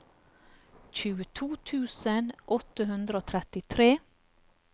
tjueto tusen åtte hundre og trettitre